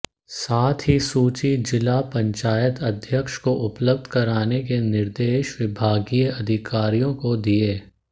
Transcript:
साथ ही सूची जिला पंचायत अध्यक्ष को उपलब्ध कराने के निर्देश विभागीय अधिकारियों को दिए